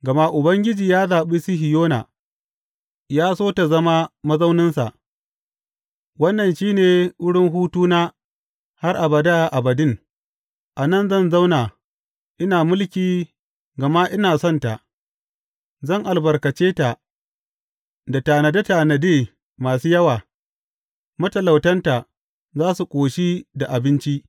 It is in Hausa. Gama Ubangiji ya zaɓi Sihiyona, ya so ta zama mazauninsa, Wannan shi ne wurin hutuna har abada abadin; a nan zan zauna ina mulki gama ina son ta, zan albarkace ta da tanade tanade masu yawa; matalautanta za su ƙoshi da abinci.